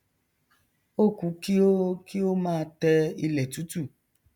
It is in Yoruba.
ó ku kí ó kí ó máa tẹ ilẹ tútù